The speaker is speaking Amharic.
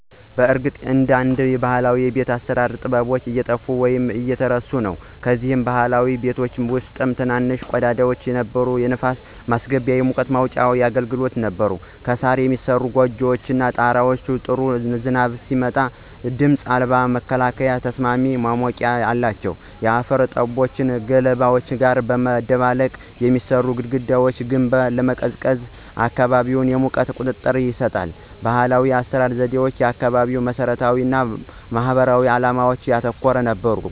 በእርግጥ አንዳንድ ባህላዊ የቤት አሰራር ጥበቦች እየጠፉ ወይም እየተረሱ ነው። ከነዚህም ባህላዊ ቤቶች ውስጥ ትንንሽ ቀዳዳዎች የነበሩ የንፋስ ማስገቢያ እና የሙቀት መውጫ ያገለግሉ ነበር። ከሣር የሚሠሩት ጎጆዎች ጣሪያዎች ጥሩ ዝናብ ሲጥል ድምፅ አልባ መከላከያና ተስማሚ ማሞቂያ አላቸው። የአፈር ጡቦችን ከገለባ ጋር በማደባለቅ የሚሠራው የግድግዳ ግንባታ ለቀዝቃዛ አካባቢ የሙቀት ቁጥጥር ይሰጣል። ባህላዊ የአሰራር ዘዴዎች አካባቢያዊ መሰረታዊነት እና ማህበራዊ ዓላማዎችን ያተኮረ ነበር።